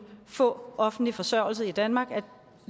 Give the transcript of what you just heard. få offentlig forsørgelse i danmark